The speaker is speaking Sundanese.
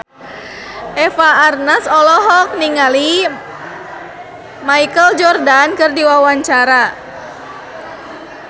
Eva Arnaz olohok ningali Michael Jordan keur diwawancara